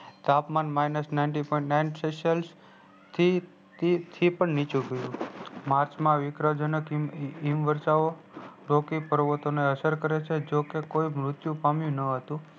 તાપમાન minus ninety point nine celsius થી પન નીચું ગયું march માં હિમ વર્ષા ઔ રોપી પર્વતો ને અસર કરે છે જોકે કોઈ મુત્યુ પામ્યું ન હતું